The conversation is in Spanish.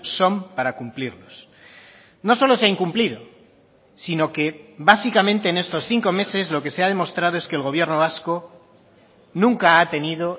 son para cumplirlos no solo se ha incumplido sino que básicamente en estos cinco meses lo que se ha demostrado es que el gobierno vasco nunca ha tenido